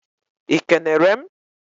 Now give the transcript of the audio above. ị kenere m?